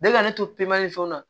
Bɛɛ ka ne to ni fɛnw na